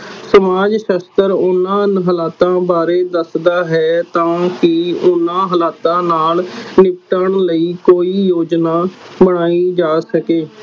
ਸਮਾਜ ਸਾਸਤ੍ਰ ਓਹਨਾ ਹਲਾਤਾਂ ਬਾਰੇ ਦਸਦਾ ਹੈ ਤਾ ਕੇ ਓਹਨਾ ਹਲਾਤਾਂ ਨਾਲ ਨਿਪਟਣ ਲਈ ਕੋਈ ਝੋਜਨਾ ਬਣਾਈਂ ਜਾ ਸਕੇ